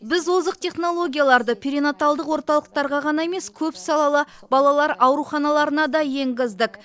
біз озық технологияларды перинаталдық орталықтарға ғана емес көпсалалы балалар ауруханаларына да енгіздік